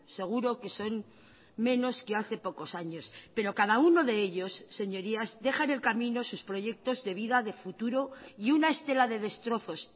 seguro que son menos que hace pocos años pero cada uno de ellos señorías deja enn el camino sus proyectos de vida de futuro y una estela de destrozos